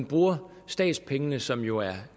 bruge statspengene som jo er